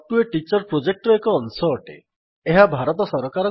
spoken tutorial project talk to a teacher project ର ଅଶଂ ଅଟେ